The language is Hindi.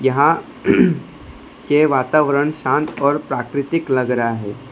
यहां के वातावरण शांत और प्राकृतिक लग रहा है।